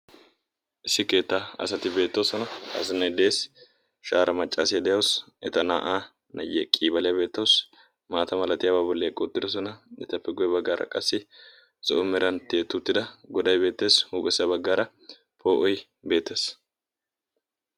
issi keetta asati beettoosona. azinai dees shaara maccaasiyaa de7awusu eta naa7aa nayye qiibaliyaa beettoosi maata halatiyaabaa bolli eqqouttidosona etappe goye baggaara qassi so7o meranttie tiyettida godai beettees. huuphessa baggaara poo'oi beetees.